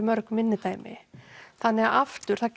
mörg minni dæmi þannig að aftur það